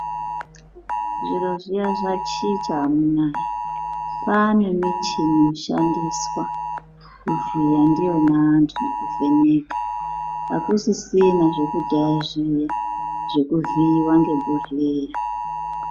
Zviro zviya zvachicha amunaa. Kwane michini inoshandiswa kuvhiya ndiyona antu nekuvheneka. Akusisina zvekudhaya zviyana zvekuvhiiwa ngebhohleya.